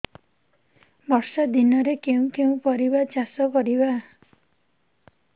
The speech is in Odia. ବର୍ଷା ଦିନରେ କେଉଁ କେଉଁ ପରିବା ଚାଷ କରିବା